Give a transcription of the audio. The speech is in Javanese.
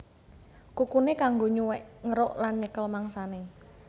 Kukuné kanggo nyuwèk ngeruk lan nyekel mangsané